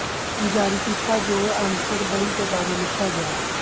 ਜਾਰੀ ਕੀਤਾ ਜੋ ਐਮਸਬਰੀ ਦੇ ਬਾਰੇ ਲਿਖਿਆ ਗਿਆ ਸੀ